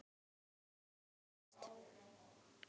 Hagnaður Haga eykst